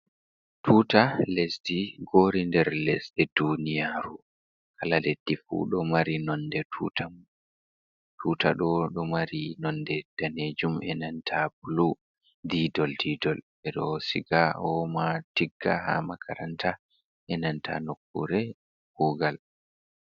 Tuta lesdi gori nder lesɗe duniyaru, kala leddi fu ɗo mari nonde tuta mun, tuta ɗo ɗo mari nonde danejum enanta blu didol didol ɓeɗo siga oma tigga ha makaranta enanta nokkure kugal.